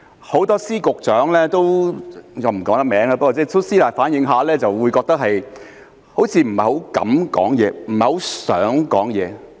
很多司局長——我不能公開名字——都私底下反映好像不太敢發聲，不太想發聲。